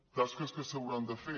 tasques que s’hauran de fer